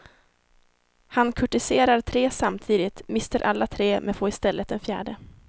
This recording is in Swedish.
Han kurtiserar tre samtidigt, mister alla tre men får i stället en fjärde.